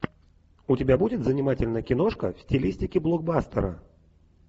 у тебя будет занимательная киношка в стилистике блокбастера